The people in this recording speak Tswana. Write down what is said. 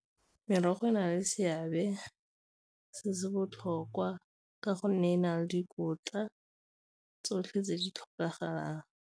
Merogo e na le seabe se se botlhokwa ka gonne e na le dikotla tsotlhe tse di tlhokagalang.